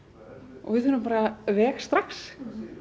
og við þurfum bara veg strax